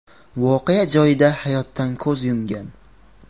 voqea joyida hayotdan ko‘z yumgan .